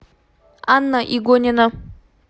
анна игонина